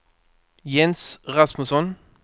Jens Rasmusson